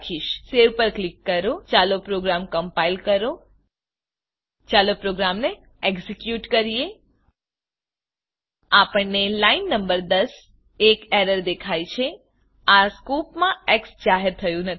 000655 000654 save પર click કરો ચાલો પોગ્રામ કમ્પાઈલ કરો ચાલો પ્રોગ્રામને એક્ઝેક્યુટ કરીએ આપણને લાઈન નંબર 10 એક એરર દેખાય છે આ સ્કોપમાં xજાહેર થયું નથી